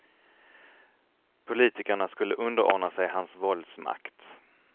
Politikerna skulle underordna sig hans våldsmakt.